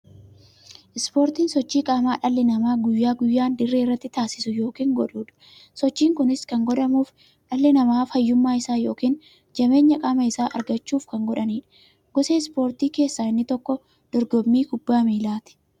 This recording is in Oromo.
Ispoortiin sochii qaamaa dhalli namaa guyyaa guyyaan dirree irratti taasisu yookiin godhuudha. Sochiin kunis kan godhamuuf, dhalli namaa fayyummaa isaa yookiin jabeenya qaama isaa argachuuf kan godhaniidha. Gosa ispoortii keessaa inni tokko dorgommii kubbaa milaati.